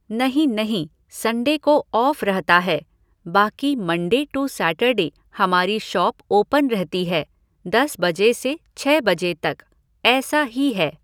नहीं नहीं, संडे को ऑफ़ रहता है, बाकी मंडे टू सैटरडे हमारी शॉप ओपन रहती है, दस बजे से छः बजे तक, ऐसा ही है।